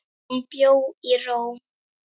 Hún bjó í ró.